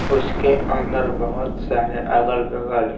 उसके अंदर बहुत सारे अगल-बगल--